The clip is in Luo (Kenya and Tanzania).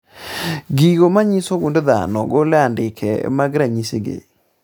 Gigo manyiso gund dhano golo andike mag ranyisi gi